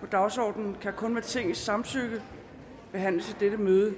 på dagsordenen kan kun med tingets samtykke behandles i dette møde